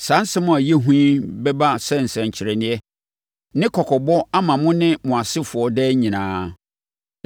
Saa nsɛm a ɛyɛ hu yi bɛba sɛ nsɛnkyerɛnneɛ ne kɔkɔbɔ ama mo ne mo asefoɔ daa nyinaa.